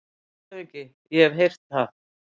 LANDSHÖFÐINGI: Ég hef heyrt það.